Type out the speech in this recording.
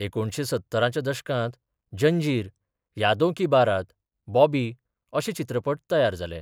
एकुणशे सत्तराच्या दशकात जंजीर, यादों की बारात, बॉबी, अशें चित्रपट तयार जालें.